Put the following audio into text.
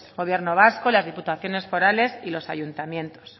gobierno vasco las diputaciones forales y los ayuntamientos